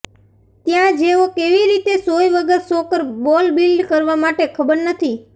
ત્યાં જેઓ કેવી રીતે સોય વગર સોકર બોલ બિલ્ડ કરવા માટે ખબર નથી